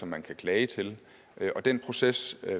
man kan klage til den proces